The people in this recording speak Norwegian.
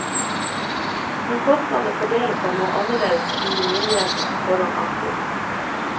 Men kostnadene fordeler seg noe annerledes enn myndighetene på forhånd antok.